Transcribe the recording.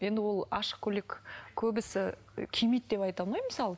енді ол ашық көйлек көбісі кимейді деп айта алмаймын мысалы